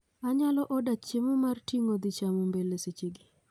Anyalo oda chiemo mar ting'o dhi chamo mbele seche gi